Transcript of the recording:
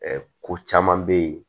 ko caman bɛ yen